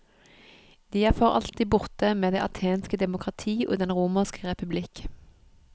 De er for alltid borte med det athenske demokrati og den romerske republikk.